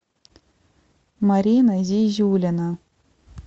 марина зизюлина